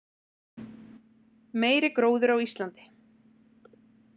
Meiri gróður á Íslandi